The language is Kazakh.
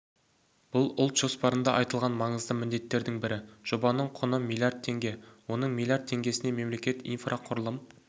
бұл ұлт жоспарында айтылған маңызды міндеттердің бірі жобаның құны млрд теңге оның млрд теңгесіне мемлекет инфрақұрылым